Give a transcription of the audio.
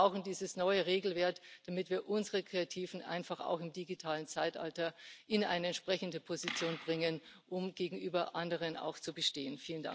Wir brauchen dieses neue Regelwerk, damit wir unsere Kreativen einfach auch im digitalen Zeitalter in eine entsprechende Position bringen, um gegenüber anderen auch zu bestehen.